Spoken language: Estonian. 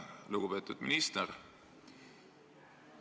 Lugupeetud minister!